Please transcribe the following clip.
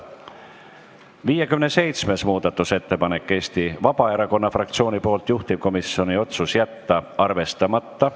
57. muudatusettepanek on Eesti Vabaerakonna fraktsioonilt, juhtivkomisjoni otsus: jätta arvestamata.